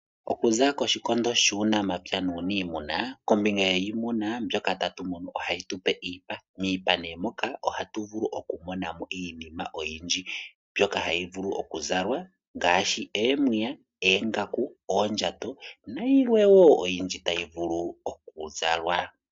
Okuza koshikondo shuunamapya nuuniimuna, kombinga yiimuna mbyoka tatu munu ohayi tu pe iipa. Miipa moka ohatu vulu okumona mo iinima oyindji mbyoka hayi vulu okuzalwa ngaashi omapaya, oongaku, oondjato nayilwe wo oyindji tayi vulu okuzalwa.